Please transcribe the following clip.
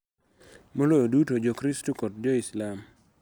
Maloyo duto, Jokristo kod Jo-Muslim.